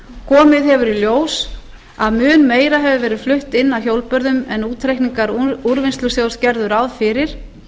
komið hefur í ljós að mun meira hefur verið flutt inn af hjólbörðum en útreikningar úrvinnslusjóðs gerðu ráð fyrir